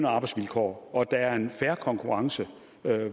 og arbejdsvilkår og at der er en fair konkurrence